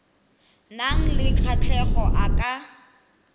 nang le kgatlhego a ka